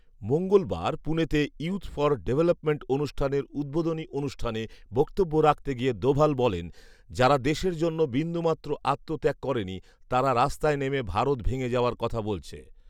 মঙ্গলবার পুনেতে youth for development অনুষ্ঠানের উদ্বোধনী অনুষ্ঠানে বক্তব্য রাখতে গিয়ে দোভাল বলেন, ‘যারা দেশের জন্য বিন্দুমাত্র আত্মত্যাগ করেনি তারা রাস্তায় নেমে ভারত ভেঙে যাওয়ার কথা বলছে